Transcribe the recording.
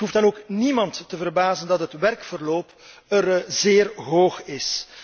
Het hoeft dan ook niemand te verbazen dat het werkverloop er zeer hoog is.